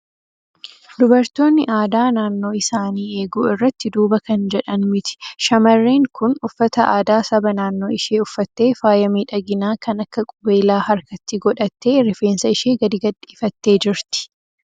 Dubartoonni aadaa naannoo isaanii eeguu irratti duuba kan jedhan miti. Shamarreen kun uffata aadaa saba naannoo ishee uffattee, faaya miidhaginaa kan akka qubeelaa harkatti godhattee, rifeensa ishee gadi gadhiifattee jirti.